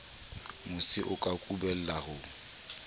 mosi o ka kubellang ho